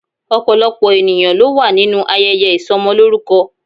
Opolopo eniyan lo wa ninu ayeye isomoloruko